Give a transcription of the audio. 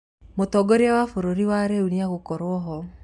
Mũtongoria wa bũrũri wa rĩu nĩegukorwo ho